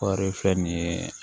Kɔɔri filɛ nin ye